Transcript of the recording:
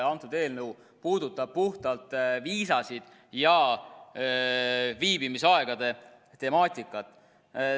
Antud eelnõu puudutab puhtalt viisasid ja viibimisaegade temaatikat.